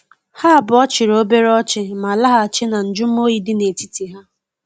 Ha abuo chiri obere ochi, ma lahachi na njumo oyi di na etiti ha.